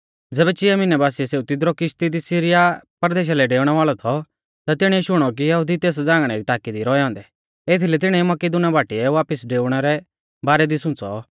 ज़ैबै चिया मिहनै बासिऐ सेऊ तिदरु किश्ती दी सीरिया परदेशा लै डेउणै वाल़ौ थौ ता तिणीऐ शुणौ कि यहुदी तेस झ़ांगणै री ताकी दी रौऐ औन्दै एथीलै तिणीऐ मकिदुनीया बाटीऐ वापिस डेउणै रै बारै दी सुंच़ौ